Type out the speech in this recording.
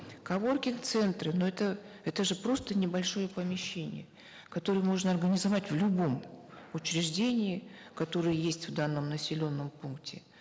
коворкинг центры но это это же просто небольшое помещение которое можно организовать в любом учреждении которые есть в данном населенном пункте